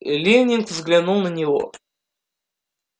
лэннинг взглянул на него